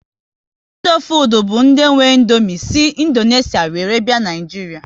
Indofood bụ ndị nwe Indomie si Indonesia were bịa Naịjiria